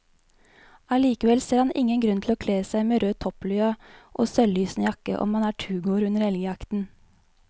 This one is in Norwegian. Allikevel ser han ingen grunn til å kle seg med rød topplue og selvlysende jakke om man er turgåer under elgjakten.